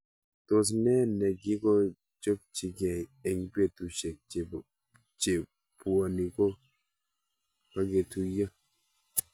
Tos ne nekokechopchikei eng' petushek che puoni ko kaketuyo